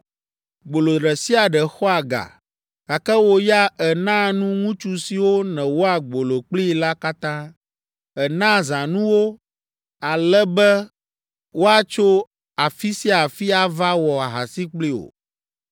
Gbolo ɖe sia ɖe xɔa ga, gake wò ya ènaa nu ŋutsu siwo nèwɔa gbolo kplii la katã, ènaa zãnu wo ale be woatso afi sia afi ava wɔ ahasi kpli wò.